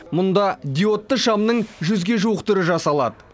мұнда диодты шамның жүзге жуық түрі жасалады